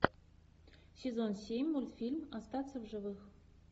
сезон семь мультфильм остаться в живых